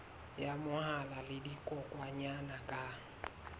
ya mahola le dikokwanyana ka